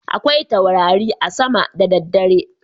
Akwai taurari a sama da daddare.